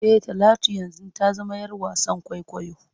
E, Talatu yanzu ta zama ‘yar wasan kwaikwayo.